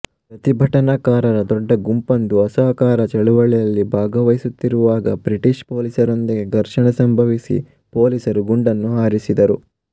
ಪ್ರತಿಭಟನಾಕಾರರ ಡೊಡ್ಡ ಗುಂಪೊಂದು ಅಸಹಕಾರ ಚಳುವಳಿಯಲ್ಲಿ ಭಾಗಹಿಸುತ್ತಿರುವಾಗ ಬ್ರಿಟೀಶ್ ಪೋಲೀಸರೊಂದಿಗೆ ಘರ್ಷಣೆ ಸಂಭವಿಸಿ ಪೋಲೀಸರು ಗುಂಡನ್ನು ಹಾರಿಸಿದರು